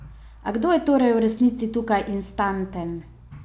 A kdo je torej v resnici tukaj instanten?